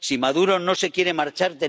Si Maduro no se quiere marchar.